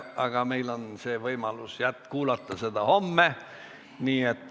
Aga meil on võimalus kuulata seda homme.